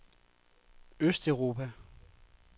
østeuropa